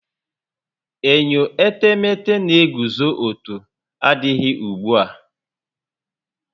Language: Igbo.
Enyo etemete n'eguzo ọtọ adịghị ugbu a